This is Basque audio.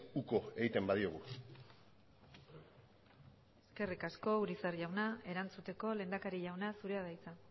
uko egiten badiogu eskerrik asko urizar jauna erantzuteko lehendakari jauna zurea da hitza